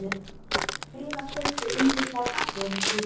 Áttu meira af þessu yndislega kaffi, Rósa mín?